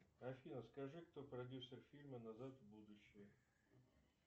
афина скажи кто продюсер фильма назад в будущее